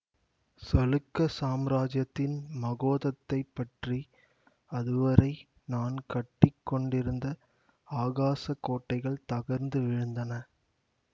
சளுக்க சாம்ராஜ்யத்தின் மகோதத்தைப் பற்றி அதுவரை நான் கட்டி கொண்டிருந்த ஆகாசக் கோட்டைகள் தகர்ந்து விழுந்தன